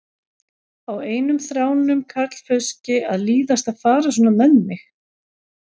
Á einum þráum karlfauski að líðast að fara svona með mig?